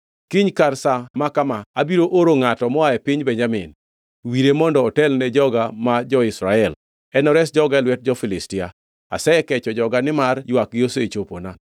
“Kiny kar sa ma kama abiro oro ngʼato moa e piny Benjamin. Wire mondo otel ne joga ma jo-Israel, enores joga e lwet jo-Filistia. Asekecho joga nimar ywakgi osechopona.”